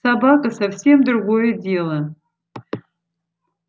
собака совсем другое дело